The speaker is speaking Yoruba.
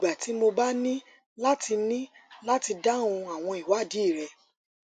gbogbo ìgbà tí mo bá ní láti ní láti dáhùn àwọn ìwádìí rẹ